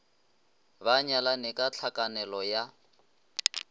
ba nyalane ka tlhakanelo ya